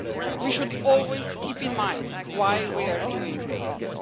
We should always keep in mind, why we are doing all this.